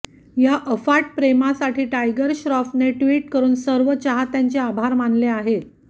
या अफाट प्रमोसाठी टायगर श्रॉफने ट्विट करुन सर्व चाहत्यांचे आभार मानले आहेत